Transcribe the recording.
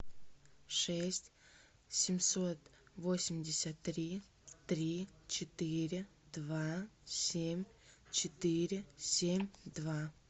шесть семьсот восемьдесят три три четыре два семь четыре семь два